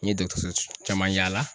N ye dɔkɔtɔrɔso caman yaala